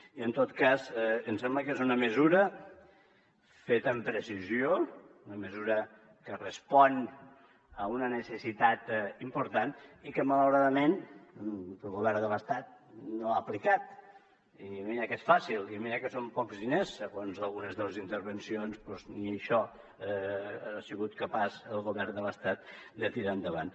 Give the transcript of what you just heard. i en tot cas em sembla que és una mesura feta amb precisió una mesura que respon a una necessitat important i que malauradament el govern de l’estat no ha aplicat i mira que és fàcil i mira que són pocs diners segons algunes de les intervencions doncs ni això ha sigut capaç el govern de l’estat de tirar endavant